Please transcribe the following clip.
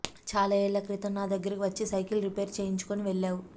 చాలా ఏళ్ల క్రితం నా దగ్గరకి వచ్చి సైకిల్ రిపేర్ చేయించుకొని వెళ్ళావు